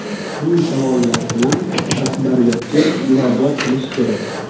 Bu savollar bilan rahbariyatga murojaat qilish kerak.